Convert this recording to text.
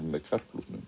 með